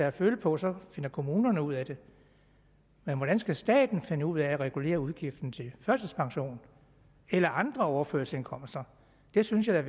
at føle på så finder kommunerne ud af det men hvordan skal staten finde ud af at regulere udgifterne til førtidspension eller andre overførselsindkomster det synes jeg